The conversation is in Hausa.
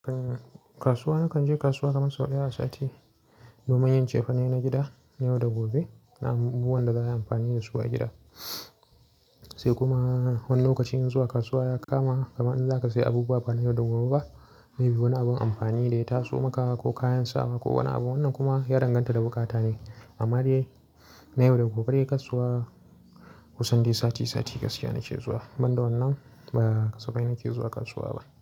Kasuwa, nakan je kasuwa kaman sau ɗaya a sati domin yin cefane na gida na yau da gobe. Na abubuwan da za a yi amfani da su a gida. Sai kuma wani lokacin zuwa kasuwa ya kama kamar in za ka sayi abubuwa ba na yau da gobe ba. Maybe wani abin amfani da ya taso maka ko kayan sawa ko wani abu. Wannan kuma ya danganta da bukata ne. Amma dai na yau da gobe dai kasuwa kusan dai sati sati gaskiya nake zuwa. Ban da wannan da asubai nake zuwa kasuwa ba.